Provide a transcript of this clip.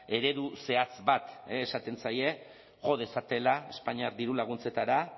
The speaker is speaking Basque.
eredu zehatz bat esaten zaie jo dezatela espainiar dirulaguntzetara